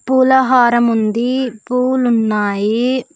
పూల హారముంది పూలున్నాయి.